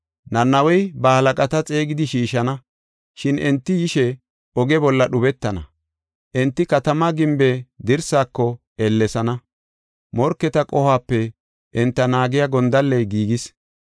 Nanawey ba halaqata xeegidi shiishana, shin enti yishe oge bolla dhubetana. Enti katamaa gimbe dirsaako ellesana, morketa qohuwape enta naagiya gondalley giigis.